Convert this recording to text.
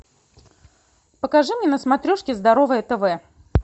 покажи мне на смотрешке здоровое тв